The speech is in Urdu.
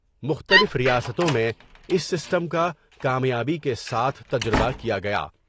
مختلف ریاستوں میں اس سسٹم کا کامیابی کے ساتھ تجربہ کیا گیا ۔